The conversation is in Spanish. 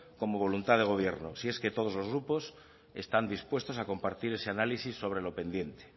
como voluntad de gobierno si es que todos los grupos están dispuestos a compartir ese análisis sobre lo pendiente